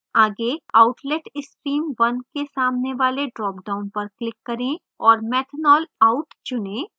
आगे outlet stream 1 के सामने वाले dropdown पर click करें और methanol out चुनें